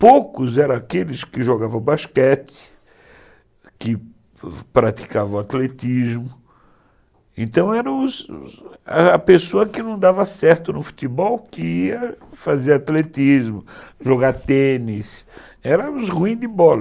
Poucos eram aqueles que jogavam basquete, que praticavam atletismo, então era os os... a pessoa que não dava certo no futebol que ia fazer atletismo, jogar tênis, eram os ruins de bola.